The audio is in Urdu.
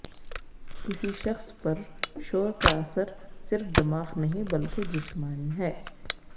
کسی شخص پر شور کا اثر صرف دماغ نہیں بلکہ جسمانی ہے